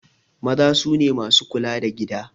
Maza sune masu kula da gida